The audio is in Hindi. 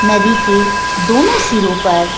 नदी के दोनों सिरों पर ।